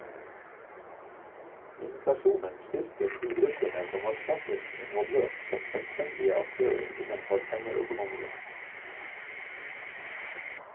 Inflasjonen styrket de gruppene som var sterkest involvert som selvstendige aktører innenfor pengeøkonomien.